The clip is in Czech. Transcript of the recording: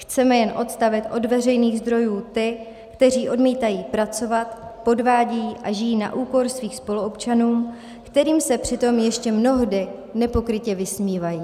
Chceme jen odstavit od veřejných zdrojů ty, kteří odmítají pracovat, podvádějí a žijí na úkor svých spoluobčanů, kterým se přitom ještě mnohdy nepokrytě vysmívají.